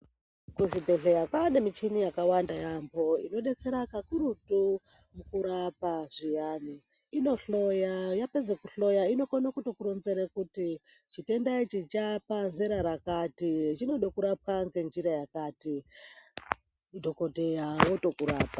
Kuzvibhedhlera kwaane mishini yakawanda yaambo. Inodetsera kakurutu mukurapa zviyani. Inohloya yapedze kuhloya inokone kutokuronzere kuti chitenda ichi chaapazera rakati, chinode kurapwa ngenjira yakati, madhokodheya otokurapa.